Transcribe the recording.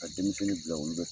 Ka denmisɛnnin bila u